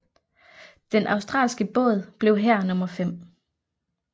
Den australske båd blev her nummer fem